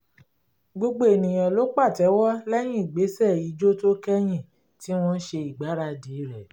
gbogbo ènìyàn ló patewo lẹ́yìn ìgbésẹ̀ ìjó tó kẹ́yìn tí wọ́n ṣe ìgbáradì rẹ̀